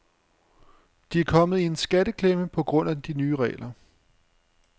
De er kommet i en skatteklemme på grund af de nye regler.